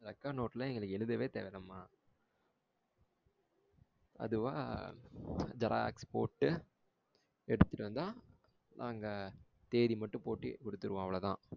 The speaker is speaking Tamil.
record note எல்லாம் எங்களுக்கு எழுதவே தேவை இல்லாமா. அதுவா xerox போட்டு எடுத்துட்டு வந்த அங்க தேதி மட்டும் போட்டு குடுத்துடுவோம் அவளோதான்.